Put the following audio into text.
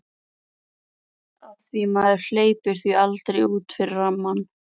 Af því maður hleypir því aldrei út fyrir rammann.